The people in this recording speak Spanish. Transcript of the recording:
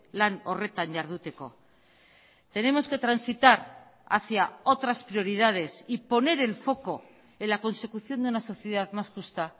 lan horretan jarduteko tenemos que transitar hacia otras prioridades y poner el foco en la consecución de una sociedad más justa